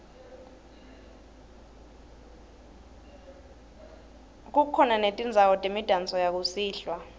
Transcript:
kukhona netindzawo temidanso yakusihlwa